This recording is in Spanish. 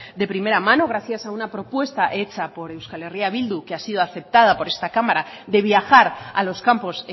de primera mano gracias a una propuesta hecha por euskal herria bildu que ha sido aceptada por esta cámara de viajar a los campos